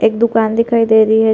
एक दुकान दिखाई दे रही हैं ।